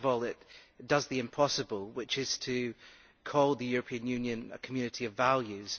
Firstly, it does the impossible, which is to call the European Union a community of values.